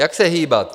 Jak se hýbat?